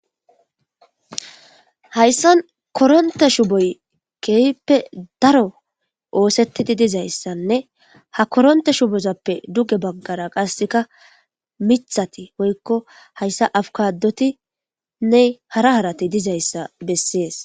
Hayssan korontte shuuboyii keehippe oosettidii dizaysanne ha korontte shuubozappe dugge baggara qasekka miiththatti woykko hayssa aabukadotinne hara haratti dizayssa beses